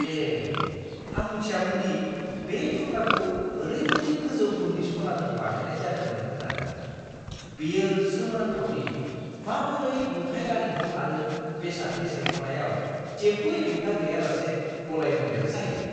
ए, आं मिथियामोन दि बे थुख्राखौ ओरैबायदि गोजौ गुननि सनाजों बानायनाय जादोंमोन होन्नानै। बेयो सोमोनांथाव दि माबोरै लुथाय-आरिमु आरो बेसादनि सायख'नायआव जेबो हेंथा गैयालासे गलायमोनदेर जायो!